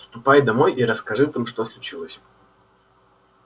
ступай домой и расскажи там что случилось